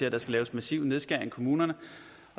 at der skal laves massive nedskæringer i kommunerne